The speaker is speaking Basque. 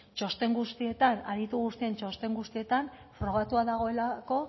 txosten guztietan aditu guztien txosten guztietan frogatua dagoelako